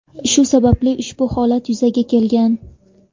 Shu sababli ushbu holat yuzaga kelgan.